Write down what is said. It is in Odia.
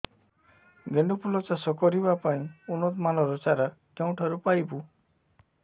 ଗେଣ୍ଡୁ ଫୁଲ ଚାଷ କରିବା ପାଇଁ ଉନ୍ନତ ମାନର ଚାରା କେଉଁଠାରୁ ପାଇବୁ